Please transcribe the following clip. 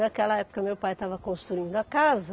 Naquela época meu pai estava construindo a casa.